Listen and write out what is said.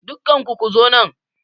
Dukkanku ku zo nan!